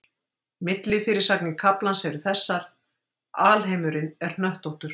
Millifyrirsagnir kaflans eru þessar: Alheimurinn er hnöttóttur.